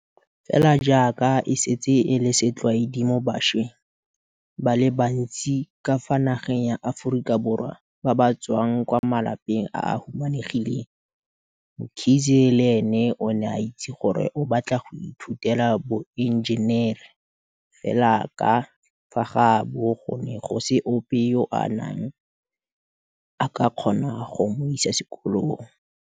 Fela jaaka e setse e le setlwaedi mo bašweng ba le bantsi ka fa nageng ya Aforika Borwa ba ba tswang kwa malapeng a a humanegileng, Mkhize le ene o ne a itse gore o batla go ithutela boenjenere, fela ka fa gaabo go ne go se ope yo a neng a ka kgona go mo isa sekolong.